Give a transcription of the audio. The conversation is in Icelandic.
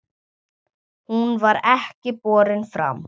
Hún var ekki borin fram.